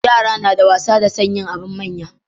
Yara nada wasa da son yin abun manya